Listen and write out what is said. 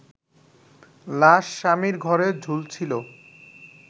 লাশ স্বামীর ঘরে ঝুলছিলো